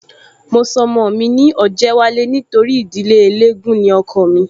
Mo sọ ọmọ mi ní Ọ̀jẹ́wálé nítorí ìdílé eléégún ni ọkọọ̀ mí